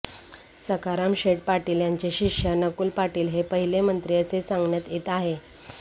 सखारामशेठ पाटील यांचे शिष्य नकुल पाटील हे पहिले मंत्री असे सांगण्यात येत आहे